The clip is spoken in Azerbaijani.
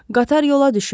Qatar yola düşür.